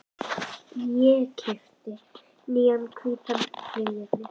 Ég keypti nýjan hvítan flygil.